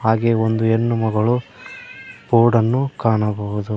ಅಲ್ಲಿ ಒಂದು ಹೆಣ್ಣುಮಗಳು ಬೋರ್ಡನ್ನು ಕಾಣಬಹುದು.